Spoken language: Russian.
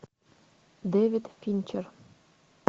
дэвид финчер